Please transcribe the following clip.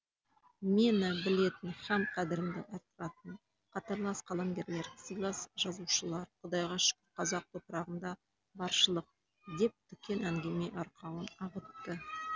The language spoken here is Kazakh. мені білетін һәм қадірімді арттыратын қатарлас қаламгерлер сыйлас жазушылар құдайға шүкір қазақ топырағында баршылық деп дүкең әңгіме арқауын ағытты